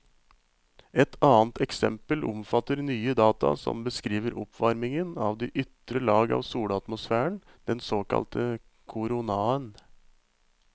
Et annet eksempel omfatter nye data som beskriver oppvarmingen av de ytre lag av solatmosfæren, den såkalte koronaen.